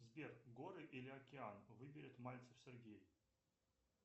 сбер горы или океан выберет мальцев сергей